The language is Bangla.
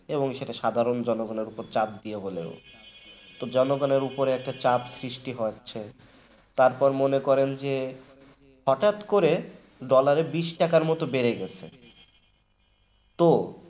এবং সেটা সাধারণ জনগণের উপর চাপ দিয়ে তো জনগণের ব্যাপারে একটা চাপ সৃষ্টি হয় তারপরও মনে করেন যে হঠাৎ করে dollar বিস টাকার মতন বেড়ে গেছে তো